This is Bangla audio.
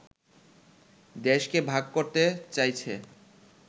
দেশকে ভাগ করতে চাইছে